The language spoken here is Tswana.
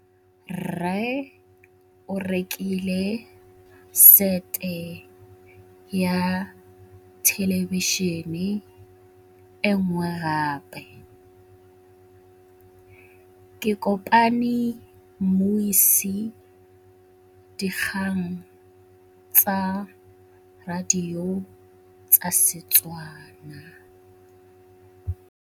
Rre o rekile sete ya thêlêbišênê e nngwe gape. Ke kopane mmuisi w dikgang tsa radio tsa Setswana.